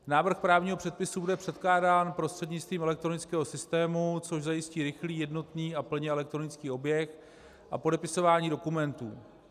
Návrh právního předpisu bude předkládán prostřednictvím elektronického systému, což zajistí rychlý, jednotný a plně elektronický objekt, a podepisování dokumentů.